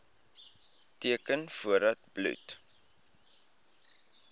teken voordat bloed